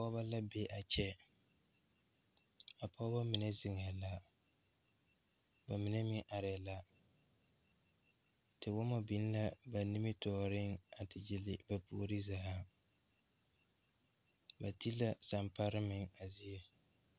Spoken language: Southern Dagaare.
Pɔɔbɔ la be a kyɛ pɔɔbɔ mine zeŋɛɛ la ba mine meŋ areɛɛ la tewɔmɔ biŋ la ba nimitooreŋ a te gyille ba puore zaa ba te la samparre meŋ a zie.